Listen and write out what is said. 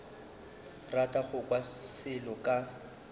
rata go kwa selo ka